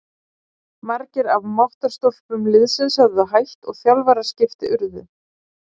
Margir af máttarstólpum liðsins höfðu hætt og þjálfaraskipti urðu.